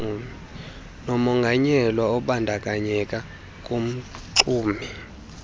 nomonganyelwa obandakanyeka kumxumi